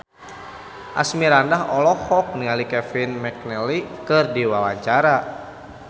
Asmirandah olohok ningali Kevin McNally keur diwawancara